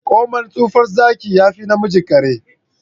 komai tsufan Zaki yafi namijin kare.